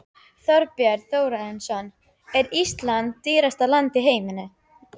Þorbjörn Þórðarson: Er Ísland dýrasta land í heimi?